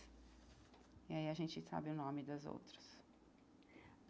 E aí a gente sabe o nome das outras.